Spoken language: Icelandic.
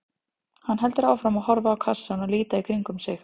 Hann heldur áfram að horfa á kassann og líta í kringum sig.